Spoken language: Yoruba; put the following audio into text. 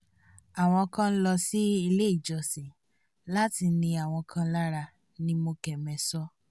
àwọn kan ń lọ sí ilé ìjọsìn láti ni àwọn kan lára ní mokeme sọ